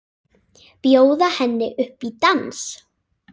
Bjóða henni upp í dans!